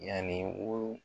Yani wolo